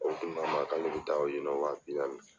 O kuma k'a ma k'an n'u b'u taa yen nɔ wa bi naani.